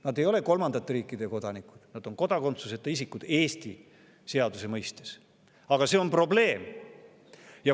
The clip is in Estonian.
Nad ei ole kolmandate riikide kodanikud, Eesti seaduse mõistes on nad kodakondsuseta isikud, aga see on probleem.